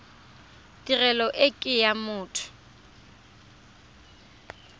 tirelo e ke ya motho